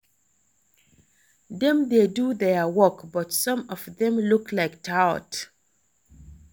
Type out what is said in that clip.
Dem dey do their work but some of dem look like tout